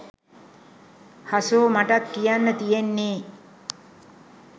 හසෝ මටත් කියන්න තියෙන්නේ